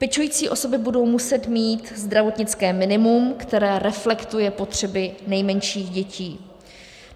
Pečující osoby budou muset mít zdravotnické minimum, které reflektuje potřeby nejmenších dětí.